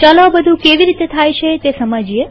ચાલો આ બધું કેવી રીતે થાય છે તે સમજીએ